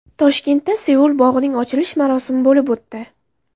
Toshkentda Seul bog‘ining ochilish marosimi bo‘lib o‘tdi .